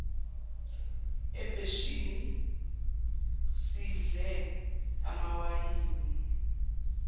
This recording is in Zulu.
ebheshini sidle amawayini